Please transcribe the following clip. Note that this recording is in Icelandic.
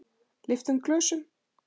Lyftum glösum!